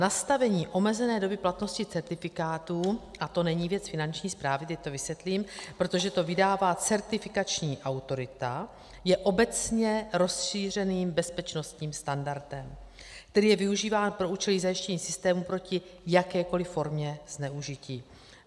Nastavení omezené doby platnosti certifikátů - a to není věc Finanční správy, teď to vysvětlím, protože to vydává certifikační autorita - je obecně rozšířeným bezpečnostním standardem, který je využíván pro účely zajištění systému proti jakékoli formě zneužití.